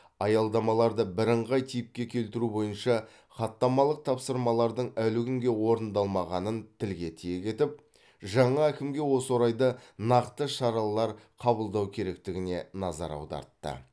аялдамаларды бірыңғай типке келтіру бойынша хаттамалық тапсырмалардың әлі күнге орындалмағанын тілге тиек етіп жаңа әкімге осы орайда нақты шаралар қабылдау керектігіне назар аудартты